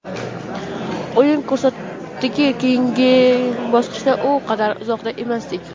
O‘yin ko‘rsatdiki, keyingi bosqichdan u qadar uzoqda emasdik.